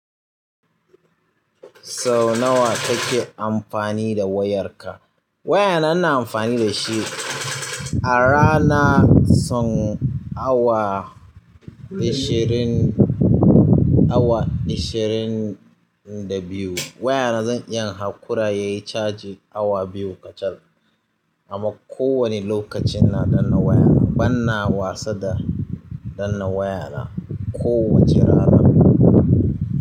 Sau nawa kake amfani da wayarka? Wayana ina amfani da shi a rana son awa ashirin, awa ashirin da biyu. Wayana zan iya hankura yayi caji awa biyu kacal. Amma ko wani lokaci ina danna waya na. Ban na wasa da danna wayana kowace rana.